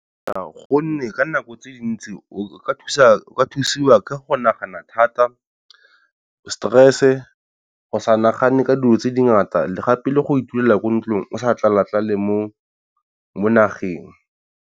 Gonne ka nako tse dintsi o ka thusiwa ka go nagana thata, stress-e, go sa nagane ka dilo tse dingata le gape le go itulela ko ntlong o sa tlala-tlale mo nageng.